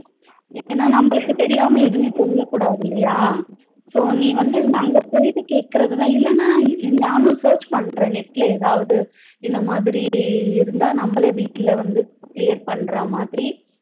ஏன நம்மளுக்கு தெரியாம எதுமே சொல்ல கூடாது இல்லையா so நீ வந்து அங்க போயிட்டு கேக்குறது இல்லனா நான் search பண்றேன் net ல ஏதாது இந்த மாதிரி இருந்தா நம்மலே வீட்டுல வந்து clear பண்ற மாதிரி